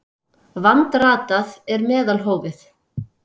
Vandratað er meðalhófið.